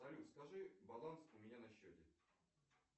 салют скажи баланс у меня на счете